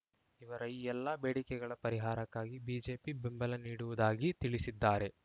ಇವರ ಈ ಎಲ್ಲ ಬೇಡಿಕೆಗಳ ಪರಿಹಾರಕ್ಕಾಗಿ ಬಿಜೆಪಿ ಬೆಂಬಲ ನೀಡುವುದಾಗಿ ತಿಳಿಸಿದ್ದಾರೆ